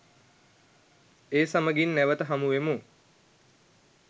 ඒ සමගින් නැවත හමුවෙමු